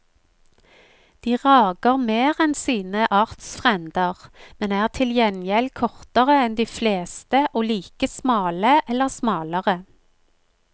De rager mer enn sine artsfrender, men er til gjengjeld kortere enn de fleste og like smale eller smalere.